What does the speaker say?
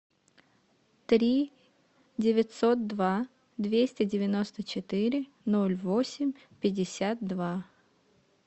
три девятьсот два двести девяносто четыре ноль восемь пятьдесят два